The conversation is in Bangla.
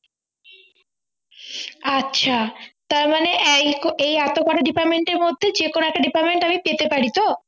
আচ্ছা তারমানে এই এই এতোকটা department এর মধ্যে যেকোনো একটা department আমি পেতে পারি তো